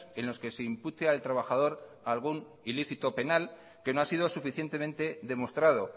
en los que se impute al trabajador algún ilícito penal que no ha sido suficientemente demostrado